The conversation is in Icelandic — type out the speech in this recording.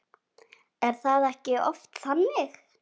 Er það ekki oft þannig?